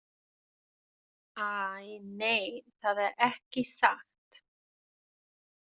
Æ, nei, það er ekki satt.